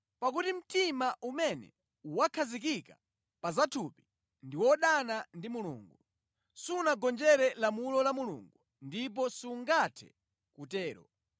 Pakuti mtima umene wakhazikika pa zathupi ndi wodana ndi Mulungu. Sunagonjere lamulo la Mulungu ndipo sungathe kutero.